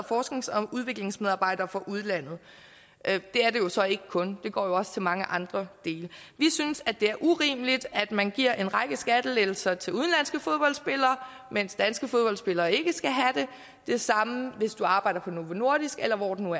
forsknings og udviklingsmedarbejdere fra udlandet det er det jo så ikke kun det går jo også til mange andre dele vi synes at det er urimeligt at man giver en række skattelettelser til udenlandske fodboldspillere mens danske fodboldspillere ikke skal og det samme hvis du arbejder på novo nordisk eller hvor det nu